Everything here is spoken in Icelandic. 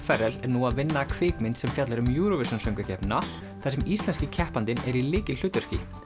Ferrell er nú að vinna að kvikmynd sem fjallar um Eurovision söngvakeppnina þar sem íslenski keppandinn er í lykilhlutverki